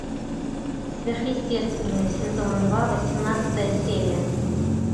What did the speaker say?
сверхъестественное сезон два восемнадцатая серия